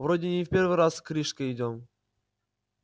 вроде не в первый раз к рижской идёт